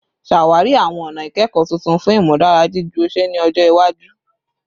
Ṣawari awọn ọna ikẹkọ tuntun fun imudara jiju ọṣẹ ni ọjọ iwaju